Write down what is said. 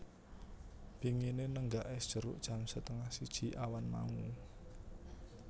Pingine nenggak es jeruk jam setengah siji awan mau